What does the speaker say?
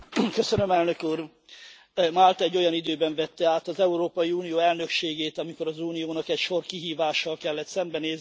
Elnök Úr, Málta egy olyan időben vette át az Európai Unió elnökségét, amikor az uniónak egy sor kihívással kellett szembenéznie.